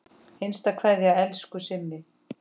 HINSTA KVEÐJA Elsku Simmi.